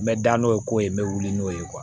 N bɛ da n'o ye koyi n bɛ wuli n'o ye